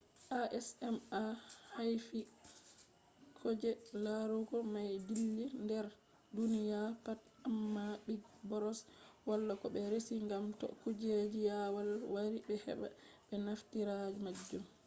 acma haifti koje larugo mai dilli dar duniya pat, amma big brother wala ko be resi gam to kuje jawal wari be heba be naftira majum